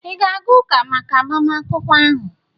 ị ga-aga ụka maka agbamakwụkwọ ahụ?